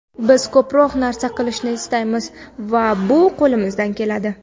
Biz ko‘proq narsa qilishni istaymiz va bu qo‘limizdan keladi.